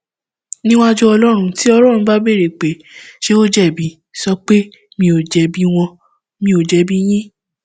níwájú ọlọrun tí ọlọrun bá béèrè pé ṣé ó jẹbi sọ pé mi ò jẹbi wọn mi ò jẹbi yín